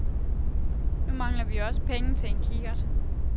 Nu mangler vi jo også penge til en kikkert.